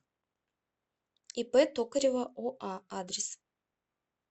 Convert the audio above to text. ип токарева оа адрес